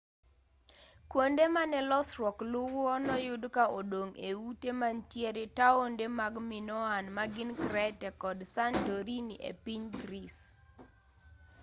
kuonde mane losruok luwo noyud ka odong' e ute mantie taonde mag minoan magin crete kod santorini epiny greece